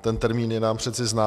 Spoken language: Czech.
ten termín je nám přece známý.